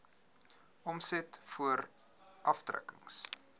omset voor aftrekkings